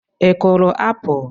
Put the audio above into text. Ị kụrụ apụl?